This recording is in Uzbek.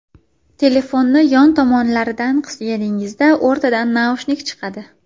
Telefonni yon tomonlaridan qisganingizda o‘rtadan naushnik chiqadi.